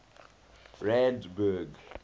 randburg